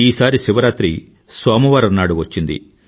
ఈసారి శివరాత్రి సోమవారం నాడు వచ్చింది